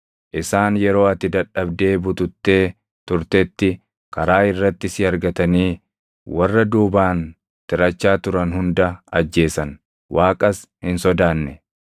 Isaan yeroo ati dadhabdee bututtee turtetti karaa irratti si argatanii warra duubaan tirachaa turan hunda ajjeesan; Waaqas hin sodaanne.